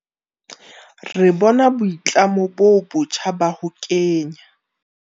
Re bona boitlamo bo botjha ba ho kenya.